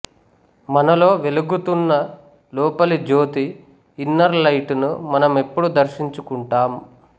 మనలో వెలుగుతున్న లోపలి జ్యోతి ఇన్నర్ లైట్ ను మనమెప్పుడు దర్శించుకుంటాం